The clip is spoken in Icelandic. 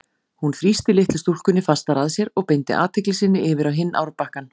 Hún þrýsti litlu stúlkunni fastar að sér og beindi athygli sinni yfir á hinn árbakkann.